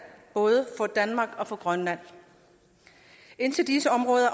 både for danmark og for grønland indtil disse områder